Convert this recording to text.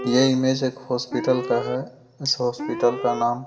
ये इमेज एक हॉस्पिटल का है इस हॉस्पिटल का नाम------